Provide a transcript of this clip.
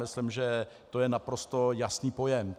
Myslím, že je to naprosto jasný pojem.